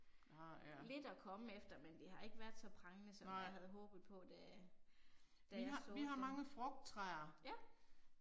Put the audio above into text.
Lidt at komme efter, men det har ikke været så prangende som jeg havde håbet på da da jeg såede dem. Ja